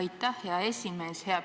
Aitäh, hea esimees!